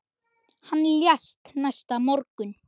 Hann lést næsta morgun.